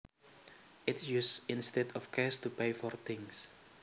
It is used instead of cash to pay for things